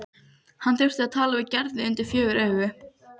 Hann þurfti að tala við Gerði undir fjögur augu.